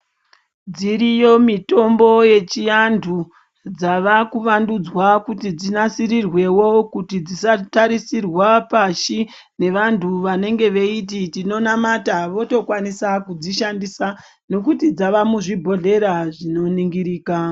Dziriyo mitombo yechivantu dzavekuvandudzwa kuti dzinasirwewo kuti dzisatarisirwa pashi nevantu vanenge veiti tinonamata votokwanisa kudzishandisa nekuti dzamuzvibhodhlera zvinoningirika.